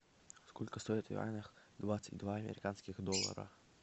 сколько стоит в юанях двадцать два американских доллара